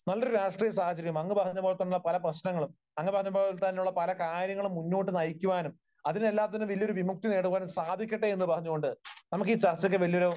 നല്ലൊരു രാഷ്ട്രീയ സാഹചര്യം, അങ്ങ് പറഞ്ഞതുപോലെ തന്നെ പല പ്രശ്നങ്ങളും അങ്ങ് പറഞ്ഞതുപോലെ പല കാര്യങ്ങളും മുന്നോട്ടു നയിക്കുവാനും അതിനെല്ലാത്തിനും വലിയൊരു വിമുക്തി നേടുവാനും സാധിക്കട്ടെ എന്ന് പറഞ്ഞുകൊണ്ട് നമുക്കീ ചർച്ചയ്ക്ക് വലിയൊരു